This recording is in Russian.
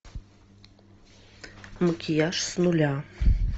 макияж с нуля